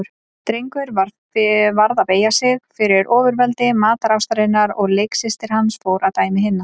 Drengur varð að beygja sig fyrir ofurveldi matarástarinnar og leiksystir hans fór að dæmi hinna.